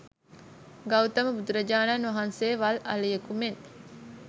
ගෞතම බුදුරජාණන් වහන්සේ වල් අලියෙකු මෙන්